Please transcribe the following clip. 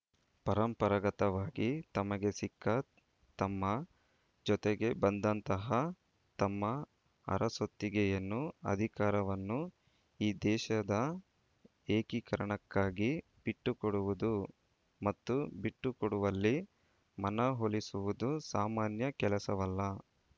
ಪರಂಪರಾಗತವಾಗಿ ತಮಗೆ ಸಿಕ್ಕ ತಮ್ಮ ಜೊತೆಗೆ ಬಂದಂತಹ ತಮ್ಮ ಅರಸೊತ್ತಿಗೆಯನ್ನು ಅಧಿಕಾರವನ್ನು ಈ ದೇಶದ ಏಕೀಕರಣಕ್ಕಾಗಿ ಬಿಟ್ಟುಕೊಡುವುದು ಮತ್ತು ಬಿಟ್ಟುಕೊಡುವಲ್ಲಿ ಮನವೊಲಿಸುವುದು ಸಾಮಾನ್ಯ ಕೆಲಸವಲ್ಲ